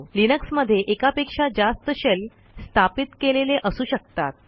लिनक्समध्ये एकापेक्षा जास्त शेल स्थापित केलेले असू शकतात